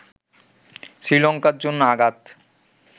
শ্রীলঙ্কার জন্য আঘাত